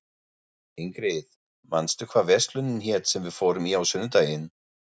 Ingrid, manstu hvað verslunin hét sem við fórum í á sunnudaginn?